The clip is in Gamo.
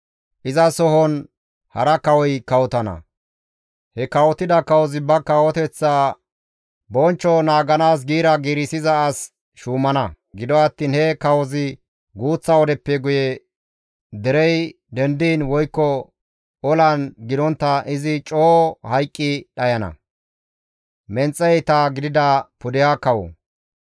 «Izasohon hara kawoy kawotana; he kawotida kawozi ba kawoteththa bonchcho naaganaas giira giirissiza as shuumana; gido attiin he kawozi guuththa wodeppe guye derey dendiin woykko olan gidontta izi coo hayqqi dhayana.»